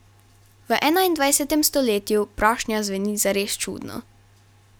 V enaindvajsetem stoletju prošnja zveni zares čudno.